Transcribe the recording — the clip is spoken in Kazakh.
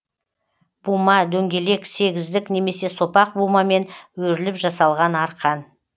бума дөңгелек сегіздік немесе сопақ бумамен өріліп жасалған арқан